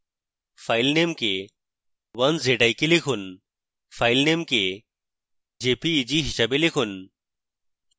file name কে 1zik লিখুন file name কে jpeg হিসাবে লিখুন